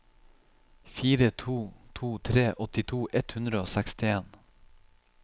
fire to to tre åttito ett hundre og sekstien